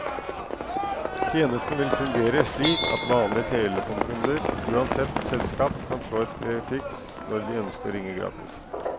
Tjenesten vil fungere slik at vanlige telefonkunder, uansett selskap, kan slå et prefiks når de ønsker å ringe gratis.